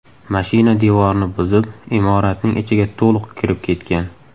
Mashina devorni buzib, imoratning ichiga to‘liq kirib ketgan.